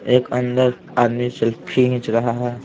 एक अंदर आदमी सेल्फी खींच रहा है।